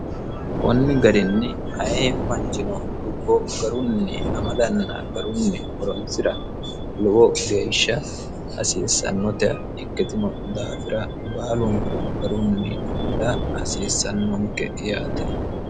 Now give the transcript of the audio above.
kunni garinni aye manchino dubbo garunni amadanna garunni horonsira lowo geeshsha hasiissannote ikkitino daafira baalonku garunni amada hasiissannonke yaate